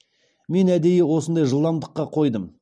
мен әдейі осындай жылдамдыққа қойдым